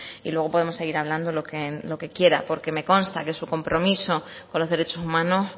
y luego podemos seguir hablando lo que quiera porque me consta que su compromiso con los derechos humanos